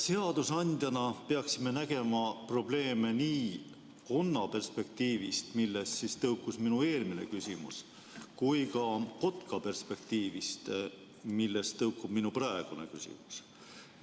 Seadusandjana peaksime nägema probleeme nii konna perspektiivist, millest tõukus minu eelmine küsimus, kui ka kotka perspektiivist, millest tõukub minu praegune küsimus.